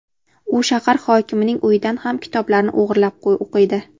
U shahar hokimining uyidan ham kitoblarni o‘g‘irlab o‘qiydi.